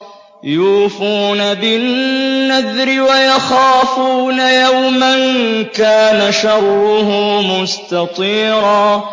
يُوفُونَ بِالنَّذْرِ وَيَخَافُونَ يَوْمًا كَانَ شَرُّهُ مُسْتَطِيرًا